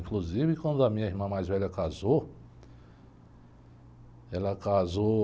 Inclusive, quando a minha irmã mais velha casou, ela casou...